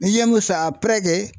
N'i ye